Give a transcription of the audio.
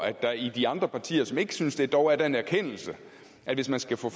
at der i de andre partier som ikke synes det dog er den erkendelse at hvis man skal få